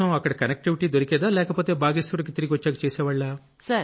connectivity దొరికేదా లేకపోతే బాగేశ్వర్ కి తిరిగొచ్చాక చేసేవాళ్లా